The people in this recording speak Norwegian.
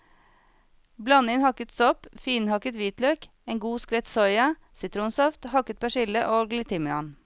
Bland inn hakket sopp, finhakket hvitløk, en god skvett soya, sitronsaft, hakket persille og litt timian.